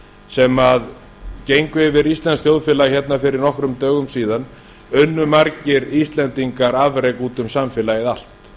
sem gengu yfir íslenskt þjóðfélag fyrir nokkrum dögum síðan unnu margir íslendingar afrek út um samfélagið allt